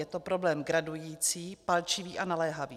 Je to problém gradující, palčivý a naléhavý.